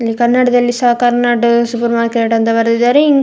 ಇಲ್ಲಿ ಕನ್ನಡದಲ್ಲಿ ಸಹ ಕರ್ನಾಡ್ ಸೂಪರ್ ಮಾರ್ಕೆಟ್ ಅಂತ ಬರೆದಿದ್ದಾರೆ ಇನ್ --